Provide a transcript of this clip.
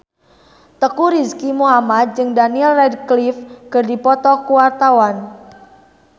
Teuku Rizky Muhammad jeung Daniel Radcliffe keur dipoto ku wartawan